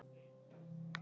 Óttar kvaddi í gær.